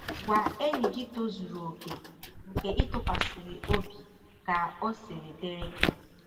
Gwa enyi gị tozuru okè, nke ị tụkwasịrị obi .ka ọ siri dịrị gị